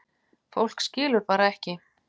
Fólk skilur bara ekki